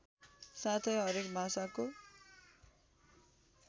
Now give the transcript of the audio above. साथै हरेक भाषाको